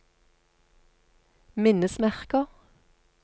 minnesmerker